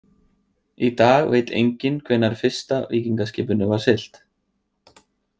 Í dag veit enginn hvenær fyrsta víkingaskipinu var siglt.